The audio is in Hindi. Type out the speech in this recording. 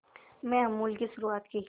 में अमूल की शुरुआत की